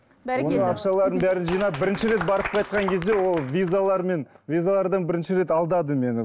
бәрекелді ақшалардың бәрін жинап бірінші рет барып қайтқан кезде ол визалармен визалардан бірінші рет алдады мені